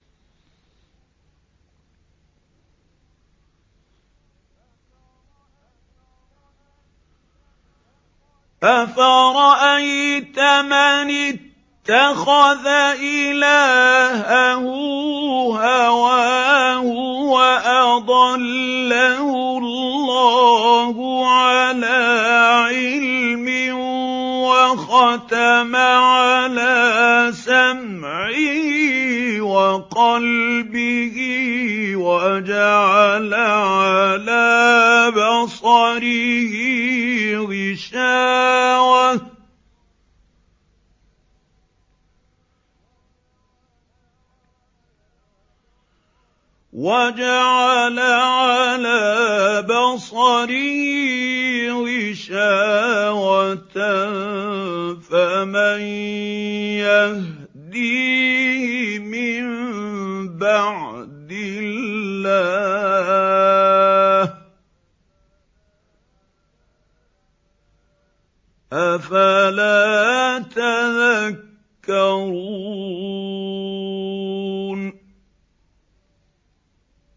أَفَرَأَيْتَ مَنِ اتَّخَذَ إِلَٰهَهُ هَوَاهُ وَأَضَلَّهُ اللَّهُ عَلَىٰ عِلْمٍ وَخَتَمَ عَلَىٰ سَمْعِهِ وَقَلْبِهِ وَجَعَلَ عَلَىٰ بَصَرِهِ غِشَاوَةً فَمَن يَهْدِيهِ مِن بَعْدِ اللَّهِ ۚ أَفَلَا تَذَكَّرُونَ